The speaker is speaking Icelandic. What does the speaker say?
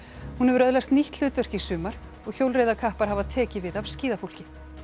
hún hefur öðlast nýtt hlutverk í sumar og hjólreiðakappar hafa tekið við af skíðafólki